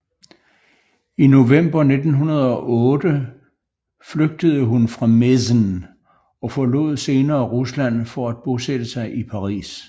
I november 1908 flygtede hun fra Mezen og forlod senere Rusland for at bosætte sig i Paris